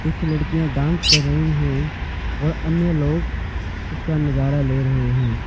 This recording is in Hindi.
कुछ लड़कियां डांस कर रही हैं और अन्य लोग इसका नजारा ले रहे हैं।